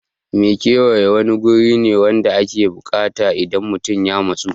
Makewayi wani guri ne wanda ake biyan buƙata idan mutun ya matsu